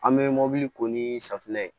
An bɛ mobili ko ni safinɛ ye